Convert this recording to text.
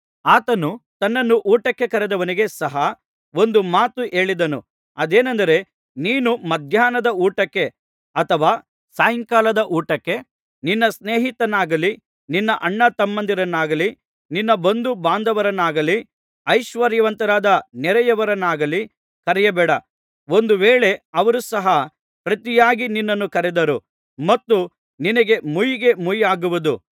ಆತನು ತನ್ನನ್ನು ಊಟಕ್ಕೆ ಕರೆದವನಿಗೆ ಸಹ ಒಂದು ಮಾತು ಹೇಳಿದನು ಅದೇನೆಂದರೆ ನೀನು ಮಧ್ಯಾಹ್ನದ ಊಟಕ್ಕೆ ಅಥವಾ ಸಾಯಂಕಾಲದ ಊಟಕ್ಕೆ ನಿನ್ನ ಸ್ನೇಹಿತರನ್ನಾಗಲಿ ನಿನ್ನ ಅಣ್ಣತಮ್ಮಂದಿರನ್ನಾಗಲಿ ನಿನ್ನ ಬಂಧುಬಾಂಧವರನ್ನಾಗಲಿ ಐಶ್ವರ್ಯವಂತರಾದ ನೆರೆಯವರನ್ನಾಗಲಿ ಕರೆಯಬೇಡ ಒಂದು ವೇಳೆ ಅವರು ಸಹ ಪ್ರತಿಯಾಗಿ ನಿನ್ನನ್ನು ಕರೆದಾರು ಮತ್ತು ನಿನಗೆ ಮುಯ್ಯಿಗೆಮುಯ್ಯಾಗುವುದು